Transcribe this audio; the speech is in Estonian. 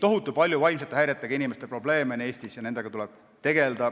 Eestis on vaimsete häiretega inimestel tohutult palju probleeme ja nendega tuleb tegelda.